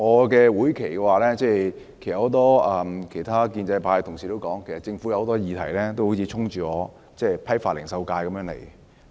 在會期內，正如很多其他建制派同事說，有很多議題上政府都好像衝着我代表的批發零售界而來。